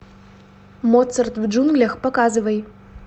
моцарт в джунглях показывай